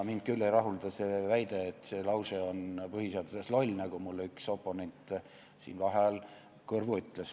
Mind küll ei rahulda see väide, et see lause põhiseaduses on loll, nagu mulle üks oponent siin vaheajal kõrvu ütles.